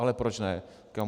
Ale proč ne.